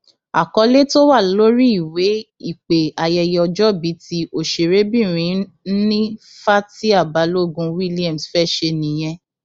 àkọlé tó wà lórí ìwé ìpè ayẹyẹ ọjọbí tí òṣèrébìnrin nni fatia balogun williams fẹẹ ṣe nìyẹn